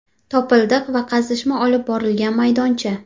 Topildiq va qazishma olib borilgan maydoncha.